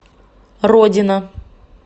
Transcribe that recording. родина